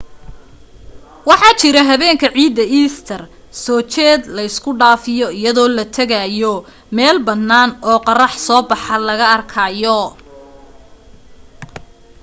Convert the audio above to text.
waxaa jira habeenka ciidda easter soo jeed la isku dhaafiyo iyadoo la tegayo meel bannaan oo qorrax soo baxa laga arkayo